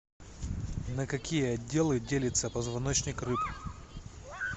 на какие отделы делится позвоночник рыб